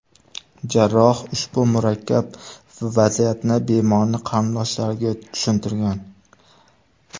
Jarroh ushbu murakkab vaziyatni bemorning qarindoshlariga tushuntirgan.